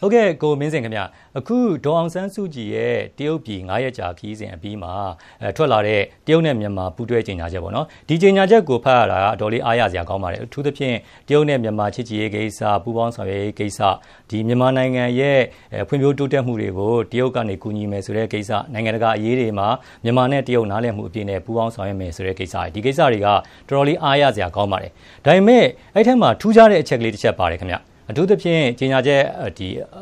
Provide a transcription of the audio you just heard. ဟုတ်ကဲ့ ကိုမင်းဇင်ခင်ဗျာ၊ အခုဒေါ်အောင်ဆန်းစုကြည်ရဲ့ တရုတ်ပြည် ၅ ရက်ကြာခရီးစဉ် အပြီးမှာ ထွက်လာတဲ့ တရုတ်နဲ့ မြန်မာ ပူးတွဲကြေ ညာချက်ပေါ့နော်။ ဒီကြေညာချက်ကို ဖတ်ရတာ အတော်လေး အားရစရာကောင်း ပါတယ်။ အထူးသဖြင့် တရုတ်နဲ့ မြန်မာ ချစ်ကြည်ရေးကိစ္စ၊ ပူးပေါင်းဆောင်ရွက်ကိစ္စ၊ ဒီ မြန်မာနိုင်ငံရဲ့ ဖွံ့ဖြိုးတိုးတက်မှုတွေကို တရုတ်ကနေ ကူညီမယ်ဆိုတဲ့ကိစ္စ၊ နိုင်ငံ တကာ အရေးတွေမှာ မြန်မာနဲ့တရုတ် နားလည်မှုအပြည့်နဲ့ ပူးပေါင်းဆောင်ရွက်မယ် ဆိုတဲ့ကိစ္စတွေ၊ ဒီကိစ္စတွေက တော်တော်လေး အားရစရာကောင်းပါတယ်။ ဒါပေမယ့် အဲဒီထဲမှာ ထူးခြားတဲ့အချက်ကလေးတချက်ပါတယ်ခင်ဗျာ။ အထူးသဖြင့် ကြေညာချက်